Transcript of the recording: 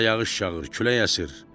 Qara yağış yağır, külək əsir.